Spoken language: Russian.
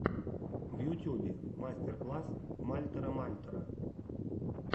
в ютьюбе мастер класс мальтера мальтера